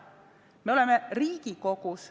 Me oleme Riigikogus.